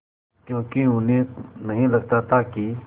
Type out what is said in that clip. क्योंकि उन्हें नहीं लगता था कि